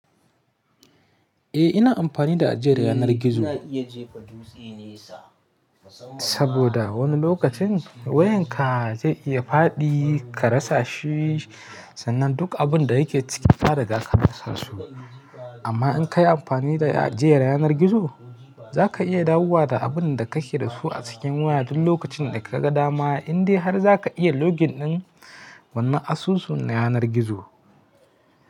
Eh ina amfani da ajiyar yanar gizo saboda wani lokacin wayarka zai iya faɗi ka rasa shi. Sannan duk abin da yake ciki fa daga ka rasa su. Amma in ka yi amfani da ajiyar yanar gizo, za ka iya dawowa da abin da kake da su a cikin waya duk lokacin da kaga dama, indai har za ka iya login ɗin wannan asusun yanar gizo.